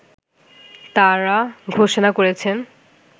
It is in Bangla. তারা ঘোষণা করেছেন